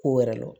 Ko wɛrɛ la